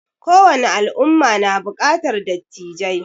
Ko wani al'umma na buƙatar dattijai